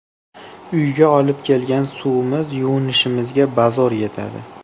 Uyga olib kelgan suvimiz yuvinishimizga bazo‘r yetadi.